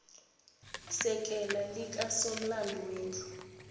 sekela likasomlomo wendlu